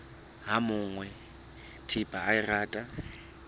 ha monga thepa a rata